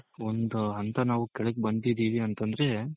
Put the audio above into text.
ಒಂದ್ ಹಂತ ನಾವು ಕೆಳಗ್ ಬಂದಿದಿವಿ ಅಂತಂದ್ರೆ